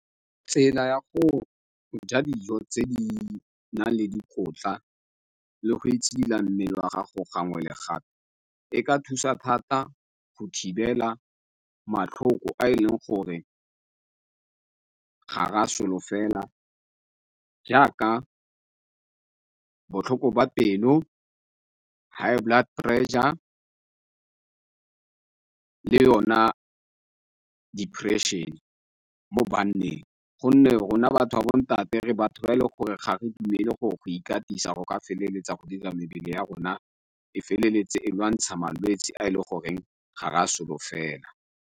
Tsela ya go ja dijo tse di nang le dikotla le go itshidila mmele wa gago gangwe le gape e ka thusa thata go thibela matlhoko a e leng gore gare a solofeleng, jaaka botlhoko ba pelo, high blood pressure, le yona depression-e mo banneng, gonne rona batho ba bontate re batho ba e leng gore ga re dumele gore go ikatisa go ka feleletsa go dira mebele ya rona e feleletse e lwantsha malwetsi a ele goreng ga ra solofela.